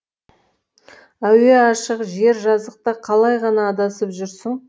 әуе ашық жер жазықта қалай ғана адасып жүрсің